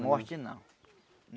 Morte não.